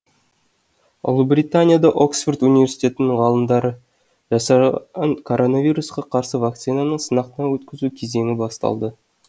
ұлыбританияда оксфорд университетінің ғалымдары жасаған коронавирусқа қарсы вакцинаны сынақтан өткізу кезеңі басталды